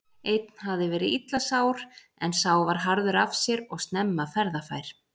Einn hafði verið illa sár en sá var harður af sér og snemma ferðafær.